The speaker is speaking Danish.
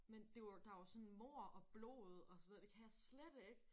Men det var jo der var jo sådan mord og blod og sådan noget det kan jeg slet ikke